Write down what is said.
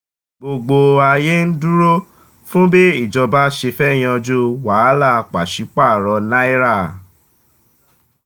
gbogbo ayé ń dúró fún bí ìjọba ṣe fẹ́ yanjú wàhálà pàṣẹ paro náírà.